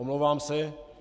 Omlouvám se.